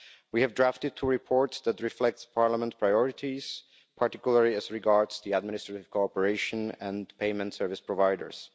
We have drafted two reports that reflect Parliament's priorities, particularly as regards the administrative cooperation and payment service providers.